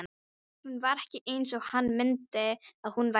Hún var ekki eins og hann minnti að hún væri.